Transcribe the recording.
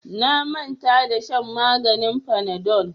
Na manta da shan maganin fanadol.